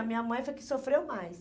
A minha mãe foi a que sofreu mais.